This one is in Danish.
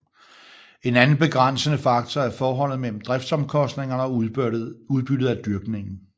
En anden begrænsende faktor er forholdet mellem driftsomkostningerne og udbyttet af dyrkningen